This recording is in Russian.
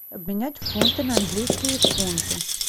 обменять фунты на английские фунты